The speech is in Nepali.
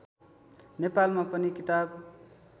नेपालमा पनि किताब